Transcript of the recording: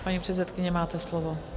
Paní předsedkyně, máte slovo.